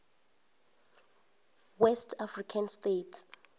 west african states